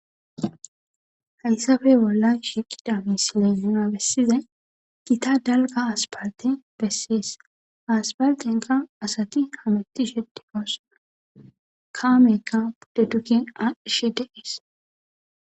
Hayssappe bollan shiiqiza misile nuna besizay gita dalgga asppaltte besees. Ha asppalttenkka asati hamutishe de7oosona. Kamekka pude duge aadhishe de7ees.